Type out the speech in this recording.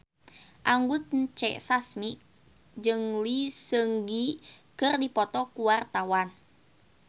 Anggun C. Sasmi jeung Lee Seung Gi keur dipoto ku wartawan